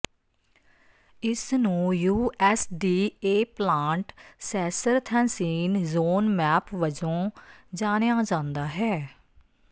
ਇਸ ਨੂੰ U S D A plant ਸੈਸਰਥੈਂਸੀਨ ਜ਼ੋਨ ਮੈਪ ਵਜੋਂ ਜਾਣਿਆ ਜਾਂਦਾ ਹੈ